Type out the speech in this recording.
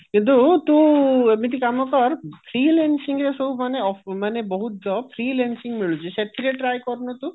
କିନ୍ତୁ ତୁ ଏମିତି କାମ କର freelancing ରେ ସବୁ ମାନେ ମାନେ ବହୁତ job freelancing ମିଳୁଛି ସେଥିରେ try କରୁନୁ ତୁ